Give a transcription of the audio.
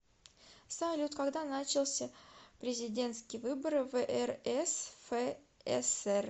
салют когда начался президентские выборы в рсфср